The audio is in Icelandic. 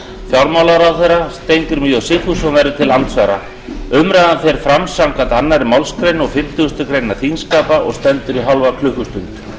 fjármálaráðherra steingrímur j sigfússon verður til andsvara umræðan fer fram samkvæmt annarri málsgrein fimmtíu greinar þingskapa og stendur í hálfa klukkustund